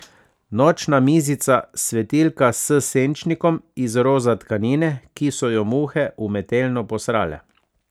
Nočna mizica, svetilka s senčnikom iz roza tkanine, ki so jo muhe umetelno posrale.